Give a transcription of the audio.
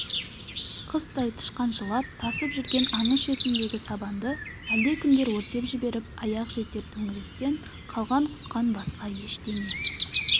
қыстай тышқаншылап тасып жүрген аңыз шетіндегі сабанды әлдекімдер өртеп жіберіп аяқ жетер төңіректен қалған-құтқан басқа ештеңе